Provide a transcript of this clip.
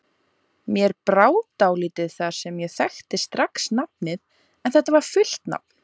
Mér brá dálítið þar sem ég þekkti strax nafnið en þetta var fullt nafn